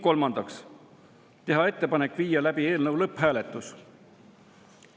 Kolmandaks, teha ettepanek viia läbi eelnõu lõpphääletus.